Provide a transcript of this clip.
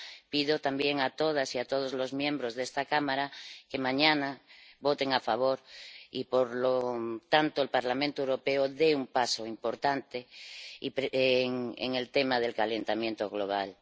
Pido también a todas y a todos los miembros de esta Cámara que mañana voten a favor y, por lo tanto, el Parlamento Europeo dé un paso importante en el tema del calentamiento global.